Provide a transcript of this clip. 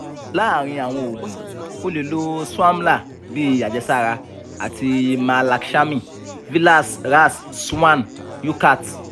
laarin awọn oogun o le lo swamla bi ajẹsara ati mahalakshami vilas ras swarn yukat